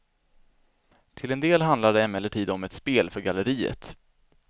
Till en del handlar det emellertid om ett spel för galleriet.